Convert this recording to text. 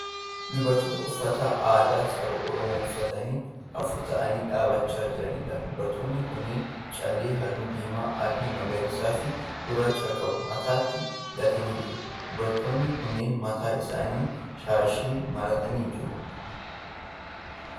Dubartoota uffata aadaa saba Oromooo uffatanii afur ta'aanii dhaabbachaa jiraniidha. Dubartoonni kunneen callee halluu, diimaa, adii, magariisa fi gurraacha qabu mataatti hidhatanii jiru. Dubartoonni kunneen mataa isaaniitti shaashii maratanii jiru.